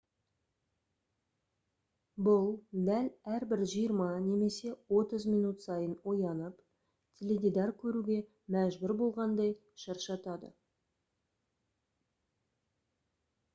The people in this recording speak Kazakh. бұл дәл әрбір жиырма немесе отыз минут сайын оянып теледидар көруге мәжбүр болғандай шаршатады